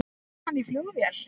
Kom hann í flugvél?